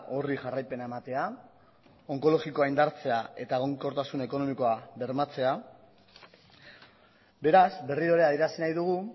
horri jarraipena ematea onkologikoa indartzea eta egonkortasun ekonomikoa bermatzea beraz berriro ere adierazi nahi dugu